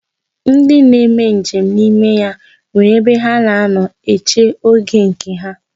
Ndi na-eme nje m n'ime ya nwere ebe ha na-anọ eche oge nke ha.